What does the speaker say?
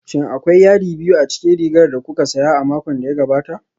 Shin akwai yadi biyu a cikin rigar da kuka saya a makon da ya gabata?